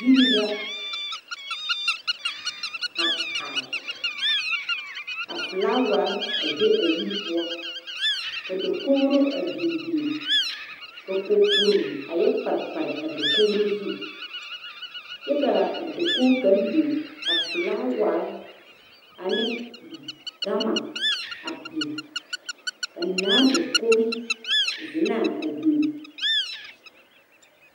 yiri la a are ka flaaware a be a yiri poɔ ka dakogri a binbin ka kapuro a yɔ pare pare a kogri zu kyɛ ka a dakog kang bing ka flaaware ne gama bin ka naa dakogi zenaa a bin